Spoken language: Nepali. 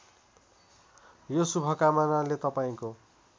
यो शुभकामनाले तपाईँको